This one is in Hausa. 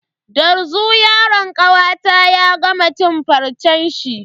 Dazu yaron kawata ya gama cin farcen shi.